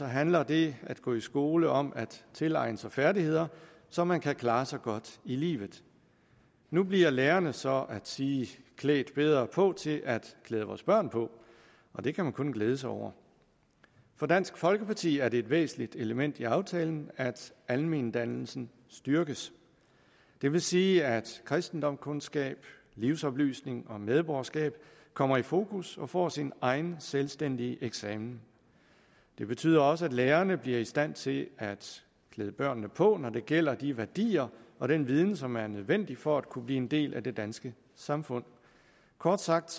handler det at gå i skole om at tilegne sig færdigheder så man kan klare sig godt i livet nu bliver lærerne så at sige klædt bedre på til at klæde vores børn på og det kan man kun glæde sig over for dansk folkeparti er det et væsentligt element i aftalen at almendannelsen styrkes det vil sige at kristendomskundskab livsoplysning og medborgerskab kommer i fokus og får sin egen selvstændige eksamen det betyder også at lærerne bliver i stand til at klæde børnene på når det gælder de værdier og den viden som er nødvendig for at kunne blive en del af det danske samfund kort sagt